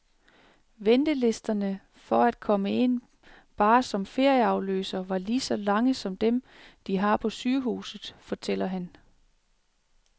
Ventelisterne for at komme ind, bare som ferieafløser, var lige så lange som dem, de har på sygehuset, fortæller han.